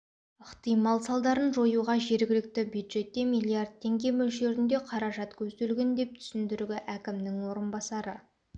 ықтимал салдарын жоюға жергілікті бюджетте миллиард теңге мөлшерінде қаражат көзделген деп түсіндіргі әкімінің орынбасары